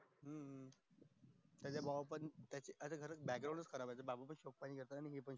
त्याच्या भावा चा भी background च खराब ये